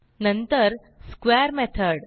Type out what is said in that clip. नंतर square method